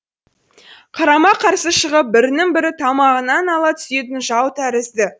қарама қарсы шығып бірінің бірі тамағынан ала түсетін жау тәрізді